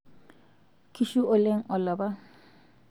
kishu oleng olapa